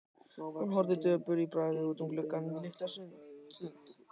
Hún horfði döpur í bragði út um gluggann litla stund.